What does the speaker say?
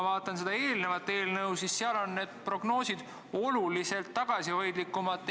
Tolles teises eelnõus on need prognoosid oluliselt tagasihoidlikumad.